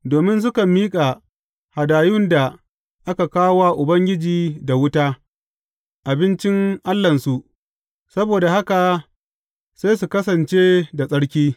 Domin sukan miƙa hadayun da aka kawo wa Ubangiji da wuta, abincin Allahnsu, saboda haka sai su kasance da tsarki.